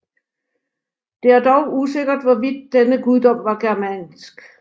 Det er dog usikkert hvorvidt denne guddom var germansk